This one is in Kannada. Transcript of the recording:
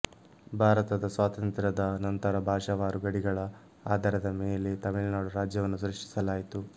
ಭಾರತದ ಸ್ವಾತಂತ್ರ್ಯದ ನಂತರ ಭಾಷಾವಾರು ಗಡಿಗಳ ಆಧಾರದ ಮೇಲೆ ತಮಿಳುನಾಡು ರಾಜ್ಯವನ್ನು ಸೃಷ್ಟಿಸಲಾಯಿತು